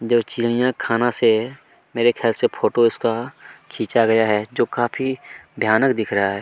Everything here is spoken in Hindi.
जो चिरईया खाना से मेरे ख्याल से फोटो इसका खींचा गया है जो काफी भयानक दिख रहा है।